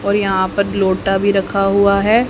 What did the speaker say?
और यहां पर एक लोटा भी रखा हुआ है।